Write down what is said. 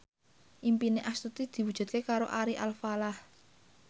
impine Astuti diwujudke karo Ari Alfalah